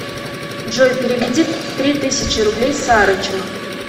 джой переведи три тысячи рублей сарычу